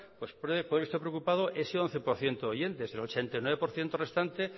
puede que este preocupado ese once por ciento de oyentes el ochenta y nueve por ciento restante